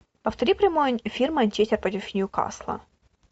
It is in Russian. повтори прямой эфир манчестер против ньюкасла